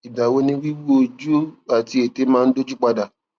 ìgbà wo ni wiwu ojú àti ètè máa dójú pa dà